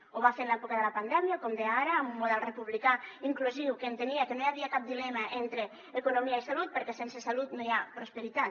ho va fer en l’època de la pandèmia com deia ara amb un model republicà inclusiu que entenia que no hi havia cap dilema entre economia i salut perquè sense salut no hi ha prosperitat